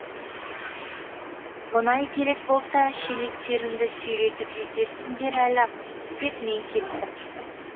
мұнай керек болса шелектеріңді сүйретіп жетерсіңдер әлі ақ деп мен кеттім